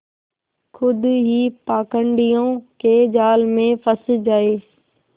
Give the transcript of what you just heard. खुद ही पाखंडियों के जाल में फँस जाए